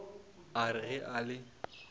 a re ge a le